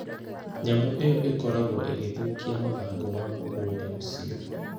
Nyamũ ĩyo ĩkoragwo ĩgĩthũkia mathangũ ma mũgũnda ũcio.